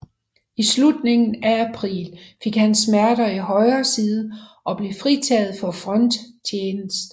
I slutningen af april fik han smerter i højre side og blev fritaget for fronttjenest